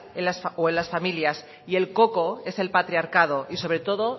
o en las familias y el coco es el patriarcado y sobre todo